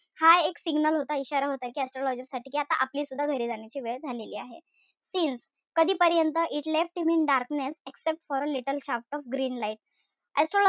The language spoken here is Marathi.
हा एक signal होता, इशारा होता कि astrologer साठी कि आता आपलीसुद्धा घरी जाण्याची वेळ झालेली आहे. Since कधीपर्यंत? It left him in darkness exxept for a little shaft of green light,